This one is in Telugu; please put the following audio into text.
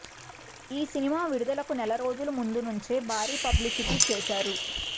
ఈ సినిమా విడుదలకు నెలరోజుల ముందు నుంచే భారీ పబ్లిసిటీ చేశారు